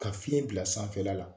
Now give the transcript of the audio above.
Ka fiɲɛ bila sanfɛla la.